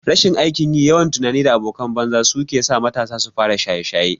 Rashin aikin yi, yawan tunani da abokan banza su kesa matasa sufara shaye shaye